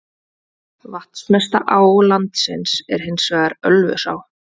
Vatnsmesta á landsins er hins vegar Ölfusá.